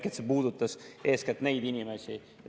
See puudutas eeskätt neid inimesi.